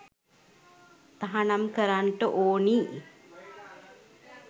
තහනම් කරන්ට ඕනි.